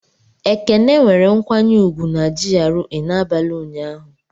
Ekene nwere nkwanye ùgwù na GRA n'abalị ụnyaahụ.